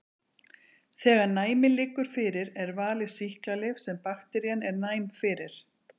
Þegar næmi liggur fyrir er valið sýklalyf sem bakterían er næm fyrir.